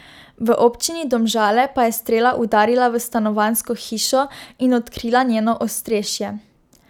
V občini Domžale pa je strela udarila v stanovanjsko hišo in odkrila njeno ostrešje.